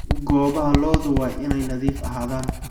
Goobaha lo'du waa inay nadiif ahaadaan.